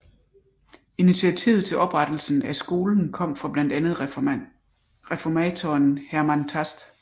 Initiativet til oprettelsen af skolen kom fra blandt andet reformatoren Hermann Tast